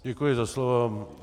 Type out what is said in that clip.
Děkuji za slovo.